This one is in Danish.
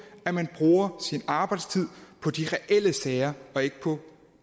at man bruger sin arbejdstid på de reelle sager og ikke på